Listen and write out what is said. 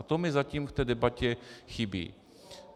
A to mi zatím v té debatě chybí.